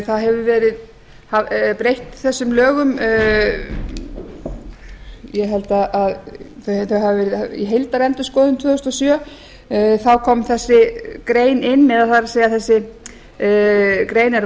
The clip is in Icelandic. það hefur verið breytt þessum lögum ég held að þau hafi verið í heildarendurskoðun tvö þúsund og sjö þá kom þessi grein inn eða það er þessi grein er